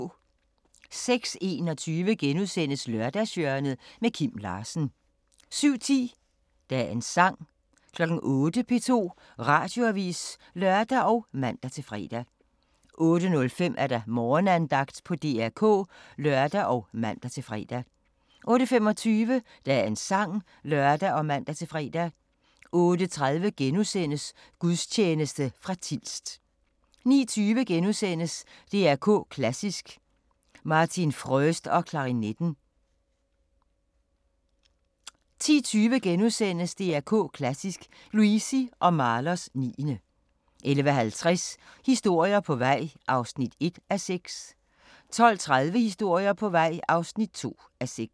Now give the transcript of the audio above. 06:21: Lørdagshjørnet – Kim Larsen * 07:10: Dagens Sang 08:00: P2 Radioavis (lør og man-fre) 08:05: Morgenandagten på DR K (lør og man-fre) 08:25: Dagens Sang (lør og man-fre) 08:30: Gudstjeneste fra Tilst * 09:20: DR K Klassisk: Martin Fröst og klarinetten * 10:20: DR K Klassisk: Luisi og Mahlers 9. * 11:50: Historier på vej (1:6) 12:30: Historier på vej (2:6)